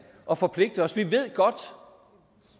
og forpligte os vi ved godt